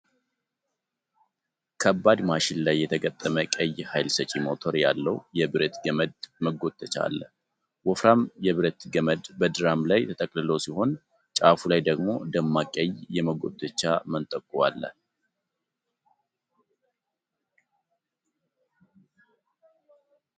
ከባድ ማሽን ላይ የተገጠመ ቀይ ሃይል ሰጪ ሞተር ያለው የብረት ገመድ መጎተቻ አለ። ወፍራም የብረት ገመድ በድራም ላይ ተጠቅልሎ ሲሆን፣ ጫፉ ላይ ደግሞ ደማቅ ቀይ የመጎተቻ መንጠቆ አለ።